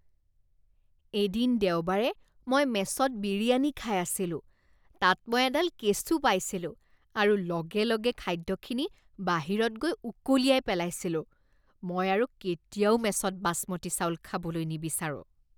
এদিন দেওবাৰে মই মেছত বিৰিয়ানী খাই আছিলোঁ, তাত মই এডাল কেঁচু পাইছিলোঁ আৰু লগে লগে খাদ্যখিনি বাহিৰত গৈ উকলিয়াই পেলাইছিলোঁ। মই আৰু কেতিয়াও মেছত বাছমতী চাউল খাবলৈ নিবিচাৰোঁ।